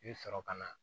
I bɛ sɔrɔ ka na